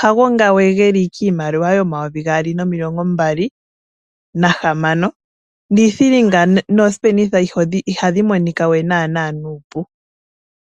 hago nga we geli kiimaliwa yomayovi gaali nomilongo mbali nahamano niithilinga nooshipenitha ayihe ihadhi monika we nana nuupu.